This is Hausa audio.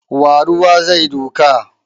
Wa ruwa zai duka?